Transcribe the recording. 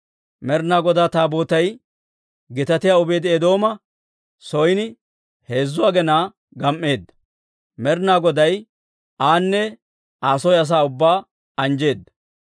Med'inaa Godaa Taabootay Gitaatiyaa Obeedi-Eedooma son heezzu aginaa gam"eedda; Med'inaa Goday aane Aa soo asaa ubbaa anjjeedda.